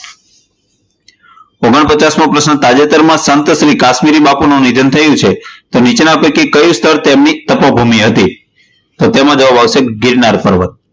ઓગણ પચાસમો પ્રશ્ન, તાજેતરમાં સંત શ્રી કાશ્મીરી બાપુનું નિધન થયું છે તો નીચેના પૈકી કયું સ્થળ તેમની તપોભૂમિ હતી? તો તેમાં જવાબ આવશે ગિરનાર પર્વત.